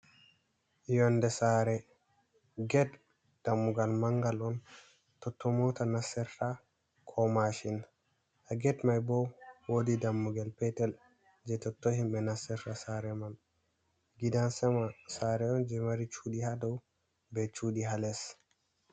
Yonde Sare, ged dammugal mangal'on totton mota nastirta ko mashin. Ha ged mai bo woodi dammugal petel je totton himbe nastirta Sare man. Gidan Sama Sare'on je maari Chuuɗi hadou be Chuuɗi ha less.